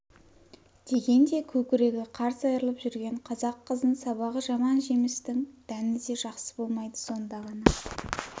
дегенде көкірегі қарс айрылып жүрген қазақ қызын сабағы жаман жемістің дәні де жақсы болмайды сонда ғана